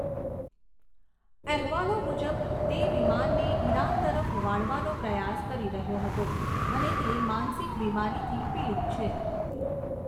અહેવાલો મુજબ તે વિમાનને ઈરાન તરફ વાળવાનો પ્રયાસ કરી રહ્યો હતો અને તે માનસિક બીમારીથી પીડિત છે.